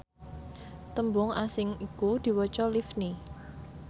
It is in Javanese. tembung asing iku diwaca livni